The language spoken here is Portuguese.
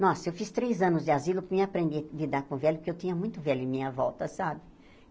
Nossa, eu fiz três anos de asilo para eu aprender a lidar com velhos, porque eu tinha muito velho em minha volta, sabe?